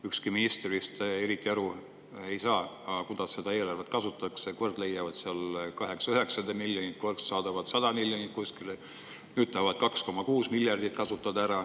Ükski minister vist eriti aru ei saagi, kuidas seda eelarvet kasutatakse, kord leiavad sealt 800–900 miljonit, kord saadavad 100 miljonit kuskile, nüüd tahavad 2,6 miljardit ära kasutada.